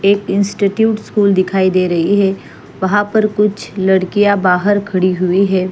एक institute school दिखाई दे रही है वहाँ पर कुछ लड़कियाँ बाहर खड़ी हुई हैं।